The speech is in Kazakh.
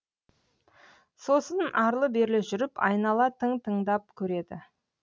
сосын арлы берлі жүріп айнала тың тыңдап көреді